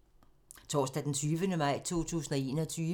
Torsdag d. 20. maj 2021